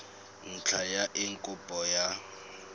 ntlha ya eng kopo ya